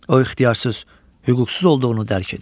O ixtiyarsız, hüquqsuz olduğunu dərk edir.